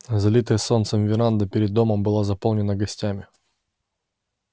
залитая солнцем веранда перед домом была заполнена гостями